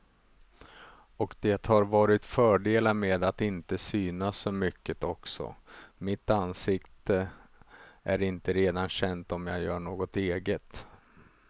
Och det har varit fördelar med att inte synas så mycket också, mitt ansikte är inte redan känt om jag gör något eget.